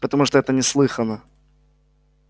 потому что это неслыханно